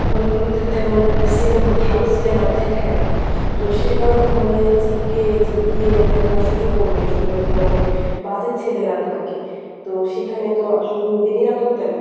hall গুলোতে তেমন cinema ভালো cinema দেখায় না। তো সে কারণে hall এ যেয়ে গিয়ে গিয়ে দেখার সুযোগও নেই আসলে ঐখানে অনেক বাজে ছেলেরা থাকে তো সেখানে তো আসলে নিরাপত্তা নেই।